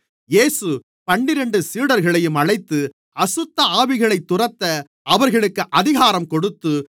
இயேசு பன்னிரண்டு சீடர்களையும் அழைத்து அசுத்தஆவிகளைத் துரத்த அவர்களுக்கு அதிகாரம் கொடுத்து